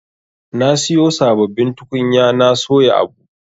Na siyo sabbabin tukunya na soya abu.